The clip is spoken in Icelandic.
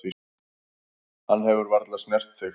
Hann hefur varla snert þig.